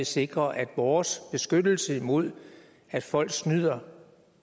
sikre at vores beskyttelse mod at folk snyder